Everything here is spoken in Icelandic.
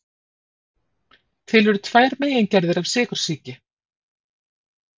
Til eru tvær megingerðir af sykursýki.